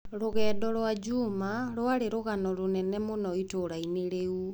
Rũgendo rwa Juma rwarĩ rũgano rũnene mũno itũũra-inĩ rĩu